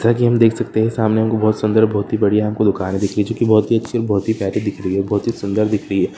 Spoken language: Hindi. जैसा की हम देख सकते है सामने हमको बहोत सुंदर बहोत ही बडीया हमको दुकाने दिखी चुकी बहोत ही अच्छी बहुत ही प्यारी दिख रही है बहुत ही सुंदर दिख रही है।